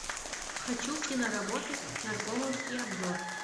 хочу киноработу наркомовский обзор